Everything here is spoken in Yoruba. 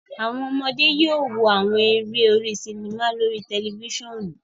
Awọn ọmọde yóò wò awọn eré orí sinima lórí tẹlifisiọnu